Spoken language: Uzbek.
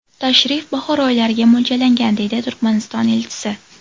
Tashrif bahor oylariga mo‘ljallangan”, deydi Turkmaniston elchisi.